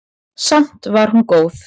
Samt var hún góð.